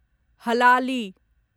हलाली